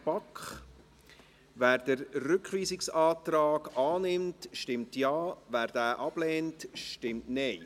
BaK. Wer den Rückweisungsantrag annimmt, stimmt Ja, wer diesen ablehnt, stimmt Nein.